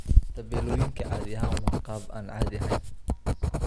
Tabeelooyinku caadi ahaan waa qaab aan caadi ahayn.